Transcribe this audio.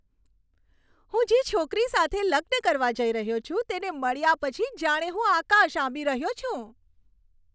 હું જે છોકરી સાથે લગ્ન કરવા જઈ રહ્યો છું, તેને મળ્યા પછી જાણે હું આકાશ આંબી રહ્યો છું.